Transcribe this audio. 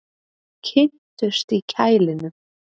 Kynntust í kælinum